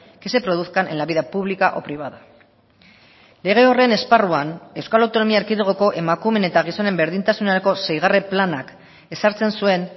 que se produzcan en la vida pública o privada lege horren esparruan euskal autonomia erkidegoko emakumeen eta gizonen berdintasunerako seigarren planak ezartzen zuen